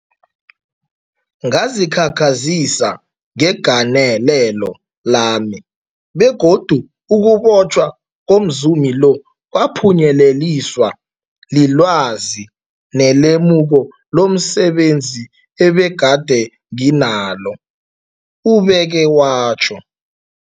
Ngazikhakhazisa ngegalelo lami, begodu ukubotjhwa komzumi lo kwaphunyeleliswa lilwazi nelemuko lomse benzi ebegade nginalo, ubeke watjho.